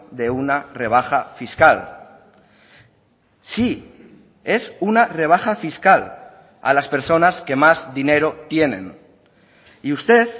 de una rebaja fiscal sí es una rebaja fiscal a las personas que más dinero tienen y usted